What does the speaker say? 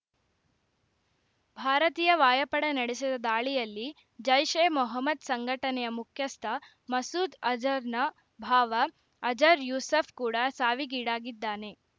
ಭಾರತೀಯ ವಾಯಪಡೆ ನಡೆಸಿದ ದಾಳಿಯಲ್ಲಿ ಜೈಷ್‌ಎ ಮೊಹಮ್ಮದ್‌ ಸಂಘಟನೆಯ ಮುಖ್ಯಸ್ಥ ಮಸೂದ್‌ ಅಜರ್‌ನ ಭಾವ ಅಜರ್‌ ಯೂಸೂಫ್‌ ಕೂಡ ಸಾವಿಗೀಡಾಗಿದ್ದಾನೆ